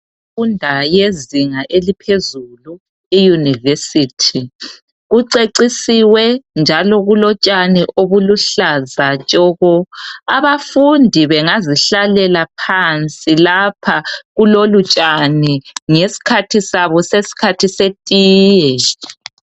Indawo yezinga eliphezulu, iYunivesi. Kucecisiwe njalo kulotshani obuluhlaza tshoko. Abafundi bengazihlalela phansi lapha kulolutshani ngesikhathi sabo sesikhathi setiye.